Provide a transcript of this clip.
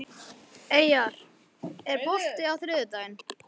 Eyjar, er bolti á þriðjudaginn?